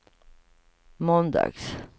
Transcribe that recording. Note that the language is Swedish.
måndags